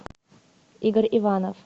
игорь иванов